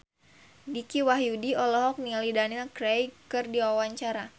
Dicky Wahyudi olohok ningali Daniel Craig keur diwawancara